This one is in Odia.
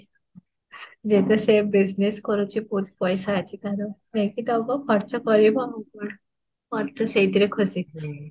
ଯେ ଏବେ ସେ ଭୁସିଙଏସ୍ରେ କରୁଛି ବହୁତ ପଇସା ଅଛି ତାର, ନେଇକି ଦାବି ଖର୍ଚ୍ଚ କରିବ ଆଉ ମୋର ତ ସେଇଥେରେ ଖୁସି